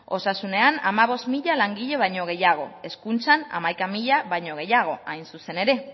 osasunean hamabost mila langile baino gehiago hezkuntzan hamaika mila baino gehiago hain zuzen ere